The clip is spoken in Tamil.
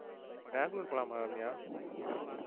பெங்களூர் போகலாமா ரம்யா?